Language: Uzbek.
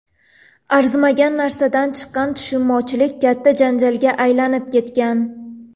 Arzimagan narsadan chiqqan tushunmovchilik katta janjalga aylanib ketgan.